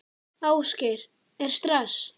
Ásgeir: Er stress?